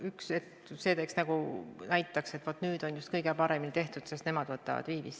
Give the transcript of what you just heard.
Et see nagu näitaks, et vaat nüüd on töö kõige paremini tehtud, sest nad võtavad viivist.